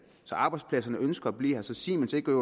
så arbejdspladserne ønsker at blive her så siemens ikke